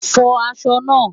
Fọ aṣọ náà!